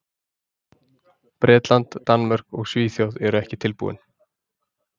Bretland, Danmörk og Svíþjóð eru ekki tilbúin.